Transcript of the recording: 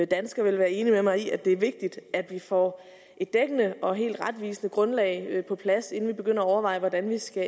danskere vil være enig med mig i at det er vigtigt at vi får et dækkende og helt retvisende grundlag på plads inden vi begynder at overveje hvordan vi skal